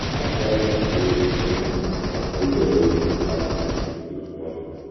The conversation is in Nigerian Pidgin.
i tell dem sey e pain me but i still dey ready to patch the friendship small small.